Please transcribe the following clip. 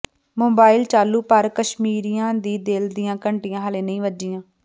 mobile ਚਾਲੂ ਪਰ ਕਸ਼ਮੀਰੀਆਂ ਦੇ ਦਿਲ ਦੀਆਂ ਘੰਟੀਆਂ ਹਾਲੇ ਨਹੀਂ ਵੱਜੀਆਂ